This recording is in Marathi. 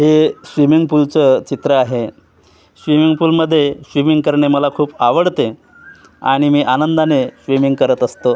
हे स्विमिंग पूलचं चित्र आहे स्विमिंग पूल मध्ये स्विमिंग करणे मला खूप आवडते आणि मी आनंदाने स्विमिंग करत असतो.